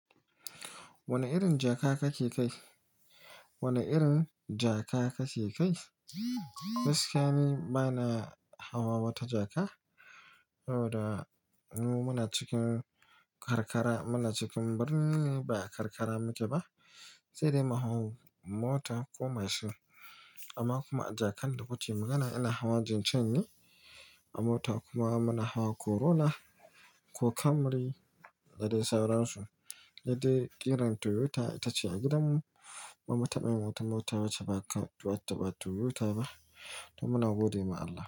Wane irin jaka kake kai? Wane irin jaka kake kai? Gaskiya ni bana hawa wata jaka saboda mu muna cikin karkara, muna cikin birni ne ba karkara muke ba, sai dai mu hau mota ko mashin. Amma kuma a jakan da kuke magana ina hawa Jincheng ne a mota kuma muna hawa Corona ko Camry da dai sauransu. Sai dai ƙirar Toyota ita ce a gidanmu ba mu taɓa yin wata mota wacce ba Toyota ba, to muna gode wa Allah.